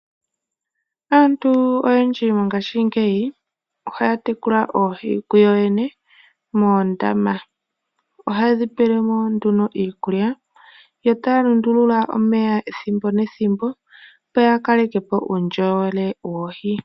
Aantu oyendji mongashingeyi ohaya tekula oohi kuyoyene moondama. Ohaye dhi pelemo nduno iikulya yo taya lundulula omeya ethimbo nethimbo opo yakaleke po uundjolowele woohi.